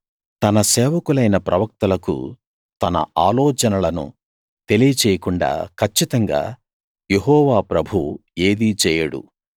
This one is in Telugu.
తన సేవకులైన ప్రవక్తలకు తన ఆలోచనలను తెలియచేయకుండా కచ్చితంగా యెహోవా ప్రభువు ఏదీ చేయడు